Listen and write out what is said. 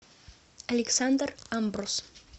александр амбрус